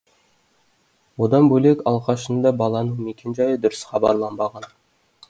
одан бөлек алғашында баланың мекенжайы дұрыс хабарланбаған